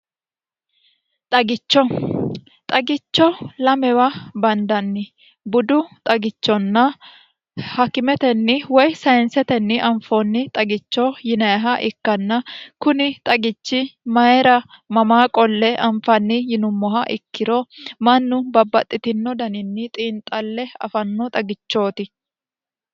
xagicho xagicho lamewa bandanni budu xagichonna hakkimetenni woy sayinsetenni anfoonni xagicho yinayeha ikkanna kuni xagichi mayira mamaa qolle anfanni yinummoha ikkiro mannu babbaxxitino daninni xiinxalle afanno xagichooti